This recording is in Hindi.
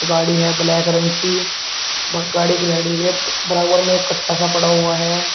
गाड़ी है ब्लैक रंग की। ब गाड़ी की लाइट दिख रही है। बराबर में एक कट्टा सा पड़ा हुआ है।